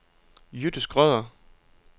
Jytte Schrøder